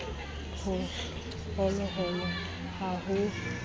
ho hoholo ha ho rentwa